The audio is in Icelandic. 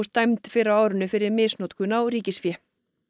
dæmd fyrr á árinu fyrir misnotkun á ríkisfé